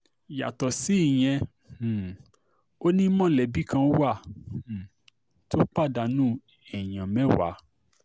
yàtọ̀ sí ìyẹn um ò ní mọ̀lẹ́bí kan wà um tó pàdánù èèyàn mẹ́wàá